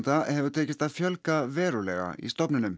hefur tekist að fjölga verulega í stofninum